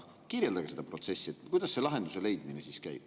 Kirjeldage seda protsessi, kuidas see lahenduse leidmine käib.